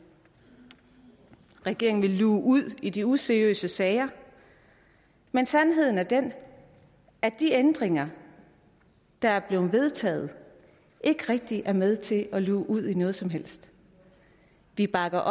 regeringen vil luge ud i de useriøse sager men sandheden er den at de ændringer der er blevet vedtaget ikke rigtig er med til at luge ud i noget som helst vi bakker